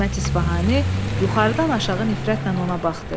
Hikmət İsfahani yuxarıdan aşağı nifrətlə ona baxdı.